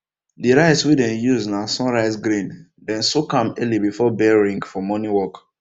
the rice wey dem use na sunrise grain dem soak am early before bell ring for morning work